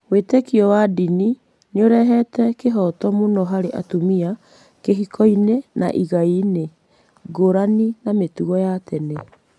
Wĩĩtĩkio wa ndini nĩ ũrehete kĩhooto mũno harĩ atumia kĩhikoinĩ na igaiinĩ, ngũrani na mĩtugo ya tene.